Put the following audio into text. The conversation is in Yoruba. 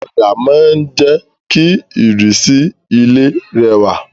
Òdà ma n je ki ìrísí ilé rẹwà